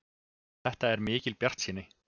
Þetta er mikil bjartsýni.